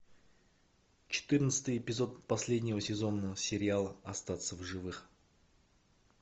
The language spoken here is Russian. четырнадцатый эпизод последнего сезона сериала остаться в живых